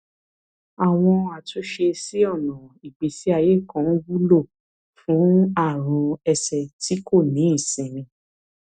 àwọn àtúnṣe sí ọnà ìgbésí ayé kan wúlò fún àrùn ẹsẹ tí kò ní ìsinmi